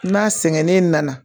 N'a sɛgɛnnen nana